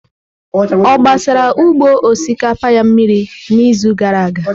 Ọ gbara ugbo osikapa ya mmiri n'izu gara aga?